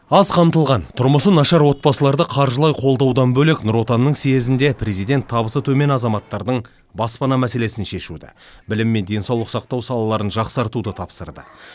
аз қамтылған тұрмысы нашар отбасыларды қаржылай қолдаудан бөлек нұр отанның съезінде президент табысы төмен азаматтардың баспана мәселесін шешуді білім мен денсаулық сақтау салаларын жақсартуды тапсырды